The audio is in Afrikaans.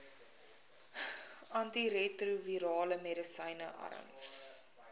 antiretrovirale medisyne arms